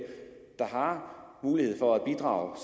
der har mulighed for at bidrage